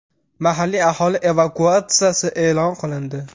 Mahalliy aholi evakuatsiyasi e’lon qilindi.